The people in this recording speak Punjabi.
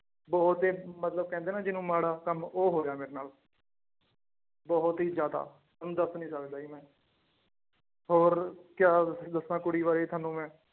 ਬਹੁਤ ਹੀ ਮਤਲਬ ਕਹਿੰਦੇ ਨਾ ਜਿਹਨੂੰ ਮਾੜਾ ਕੰਮ ਉਹ ਹੋ ਗਿਆ ਮੇਰੇ ਨਾਲ ਬਹੁਤ ਹੀ ਜ਼ਿਆਦਾ ਤੁਹਾਨੂੰ ਦੱਸ ਨੀ ਸਕਦਾ ਜੀ ਮੈਂ ਹੋਰ ਕਿਆ ਦੱਸਾਂ ਕੁੜੀ ਬਾਰੇ ਤੁਹਾਨੂੰ ਮੈਂ।